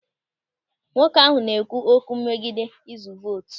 Nwoke ahụ na-ekwu okwu megide izu vootu.